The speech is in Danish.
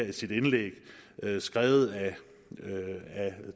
i sit indlæg skrevet af